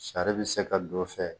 Sari bɛ se ka don a fɛ